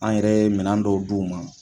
An yɛrɛ minɛnan dɔw d'u ma